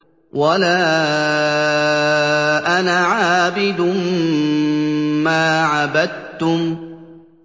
وَلَا أَنَا عَابِدٌ مَّا عَبَدتُّمْ